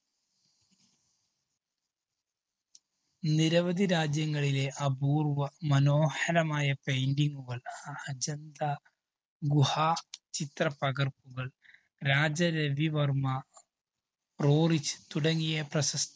നിരവധി രാജ്യങ്ങളിലെ അപൂര്‍വ്വ മനോഹരമായ painting കള്‍ അ~അജന്ത ഗുഹ ചിത്ര പകര്‍പ്പുകള്‍, രാജരവിവര്‍മ്മ, റോറിച് തുടങ്ങിയ പ്രശ